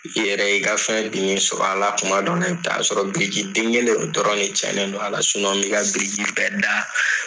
I yɛrɛ i ka fɛn sɔrɔ a la kuma dɔw la i bɛ taa sɔrɔ biriki den kelen o dɔrɔn cɛnnen do a la mi ka biriki bɛɛ da